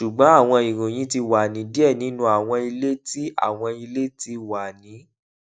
ṣugbọn awọn iroyin ti wa ni diẹ ninu awọn ile ti awọn ile ti wa ni